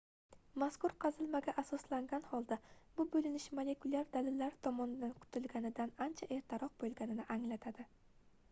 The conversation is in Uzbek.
mazkur qazilmaga asoslangan holda bu boʻlinish molekulyar dalillar tomonidan kutilganidan ancha ertaroq boʻlganini anglatadi